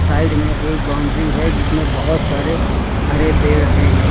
Side में एक boundary है जिसमें बहोत सारे हरे पेड़ हैं।